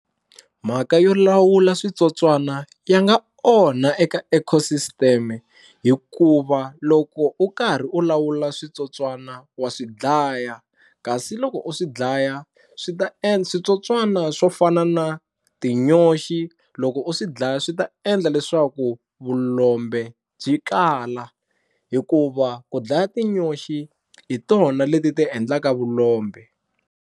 Mhaka yo lawula switsotswana ya nga onha eka ecosystem hikuva loko u karhi u lawula switsotswana wa swi dlaya, kasi loko u swi dlaya swi ta endla switsotswana swo fana na tinyoxi loko u swi dlaya swi ta endla leswaku vulombe byi kala hikuva ku dlaya tinyoxi hi tona leti ti endlaka vulombe.